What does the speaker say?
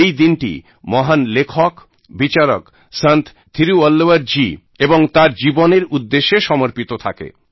এই দিনটি মহান লেখক বিচারক সন্ত থীরুবল্লুবরজী এবং তাঁর জীবনের উদ্দেশ্যে সমর্পিত থাকে